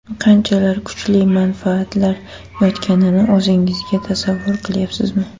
Qanchalar kuchli manfaatlar yotganini o‘zingizga tasavvur qilyapsizmi?